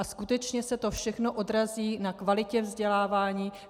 A skutečně se to všechno odrazí na kvalitě vzdělávání.